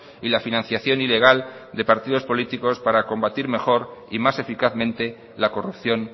y la financiación ilegal de partido políticos para combatir mejor y más eficazmente la corrupción